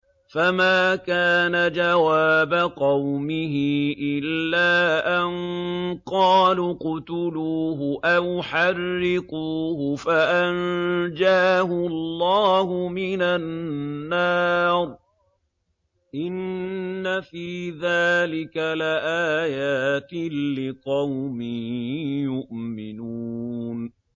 فَمَا كَانَ جَوَابَ قَوْمِهِ إِلَّا أَن قَالُوا اقْتُلُوهُ أَوْ حَرِّقُوهُ فَأَنجَاهُ اللَّهُ مِنَ النَّارِ ۚ إِنَّ فِي ذَٰلِكَ لَآيَاتٍ لِّقَوْمٍ يُؤْمِنُونَ